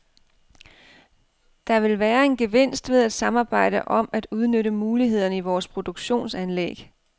Der vil være en gevinst ved at samarbejde om at udnytte mulighederne i vores produktionsanlæg.